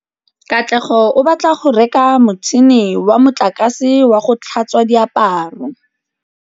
Katlego o batla go reka motšhine wa motlakase wa go tlhatswa diaparo.